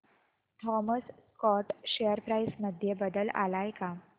Thomas Scott share price मध्ये बदल आलाय का